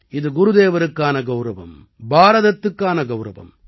இது குருதேவருக்கான கௌரவம் பாரதத்துக்கான கௌரவம்